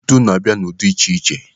Ntu na-abịa ụdị dị iche iche.